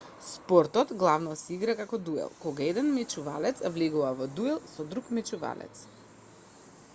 спортот главно се игра како дуел кога еден мечувалец влегува во дуел со друг мечувалец